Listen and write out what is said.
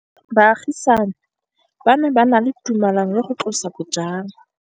Baagisani ba ne ba na le tumalanô ya go tlosa bojang.